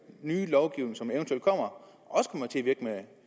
nye lovgivning som eventuelt kommer